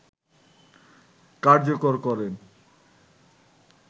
কার্যকর করেন